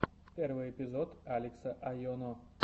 первый эпизод алекса айоно